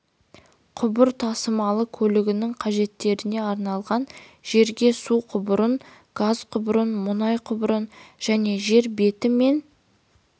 құбыр тасымалы көлігінің қажеттеріне арналған жерге су құбырын газ құбырын мұнай құбырын және жер беті мен